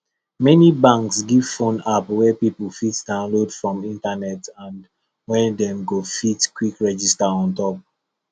many banks give phone app wey people fit downlaod from internet and wey dem go fit quick register on top